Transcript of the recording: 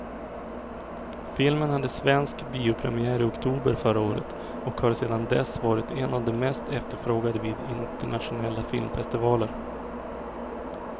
Filmen hade svensk biopremiär i oktober förra året och har sedan dess varit en av de mest efterfrågade vid internationella filmfestivaler.